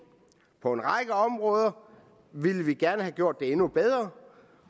på en række områder ville vi gerne have gjort det endnu bedre